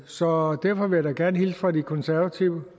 så derfor vil jeg da gerne hilse fra de konservative